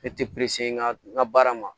Ne tɛ n ka n ka baara ma